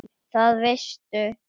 Það veistu